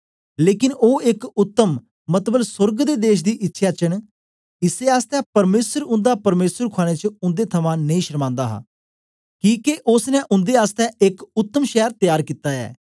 लेकन ओ एक उत्तम मतलब सोर्ग दे देश दी इच्छया च न इसै आसतै परमेसर उन्दा परमेसर खुआने च उन्दे थमां नेई शर्मान्दा हा किके ओसने उन्दे आसतै एक उतम शैर त्यार कित्ता ऐ